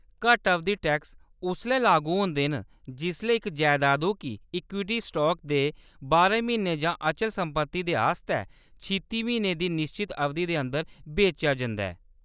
घट्ट-अवधि tax उसलै लागू होंदे न जिसलै इक जैदादु गी इक्विटी स्टाक दे बारां म्हीनें जां अचल संपत्ति दे आस्तै छित्ती म्हीने दी निश्चत अवधि दे अंदर बेचेआ जंदा ऐ।